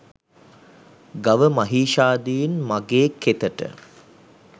ගව මහීෂාදීන් මගේ කෙතට